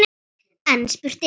En spurt er: